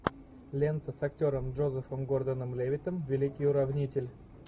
лента с актером джозефом гордоном левиттом великий уравнитель